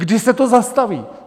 Kdy se to zastaví?